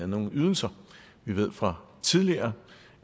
nogle ydelser vi ved fra tidligere